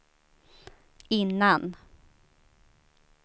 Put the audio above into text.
innan